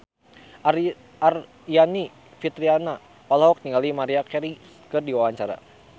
Aryani Fitriana olohok ningali Maria Carey keur diwawancara